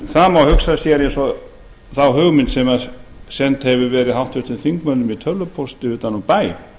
það má hugsa sér eins og þá hugmynd sem send hefur verið háttvirtum þingmönnum í tölvupósti utan úr bæ